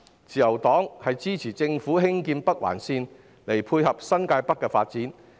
自由黨支持政府興建北環綫，以配合新界北的發展。